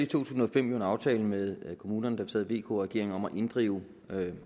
tusind og fem en aftale med kommunerne da vi sad vk regeringen om at inddrive